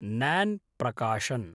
न्यान् प्रकाशन्